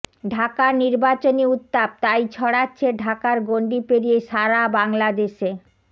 ঢাকার নির্বাচনী উত্তাপ তাই ছড়াচ্ছে ঢাকার গণ্ডি পেরিয়ে সাড়া বাংলাদেশে